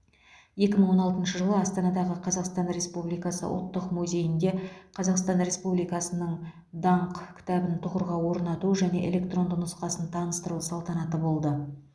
екі мың он алтыншы жылы астанадағы қазақстан республикасы ұлттық музейінде қазақстан республикасының даңқ кітабын тұғырға орнату және электронды нұсқасын таныстыру салтанаты болды